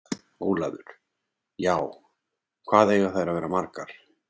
Ólafur: Já. hvað eiga þær að vera margar?